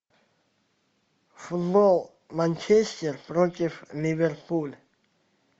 футбол манчестер против ливерпуль